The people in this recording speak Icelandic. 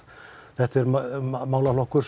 þetta er málaflokkur